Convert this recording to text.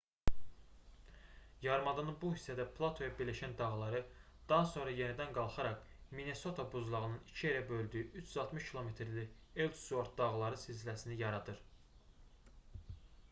yarımadanın bu hissədə platoya birləşən dağları daha sonra yenidən qalxaraq minnesota buzlağının iki yerə böldüyü 360 km-lik elsuort dağları silsiləsini yaradır